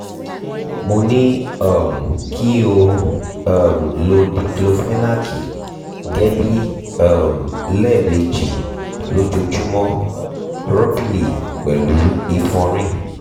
mo ní um kí o um lo díklófénákì gẹ́lì um lẹ́ẹ̀mejì lójoojúmọ́ rọ́bìlì pẹ̀lú ìfọ̀nrin